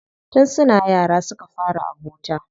Tun suna yara suka fara abota.